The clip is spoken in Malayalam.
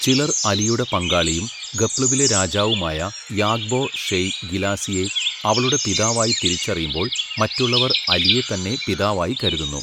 ചിലർ അലിയുടെ പങ്കാളിയും ഖപ്ലുവിലെ രാജാവുമായ യാബ്ഗോ ഷെയ് ഗിലാസിയെ, അവളുടെ പിതാവായി തിരിച്ചറിയുമ്പോൾ മറ്റുള്ളവർ അലിയെ തന്നെ പിതാവായി കരുതുന്നു.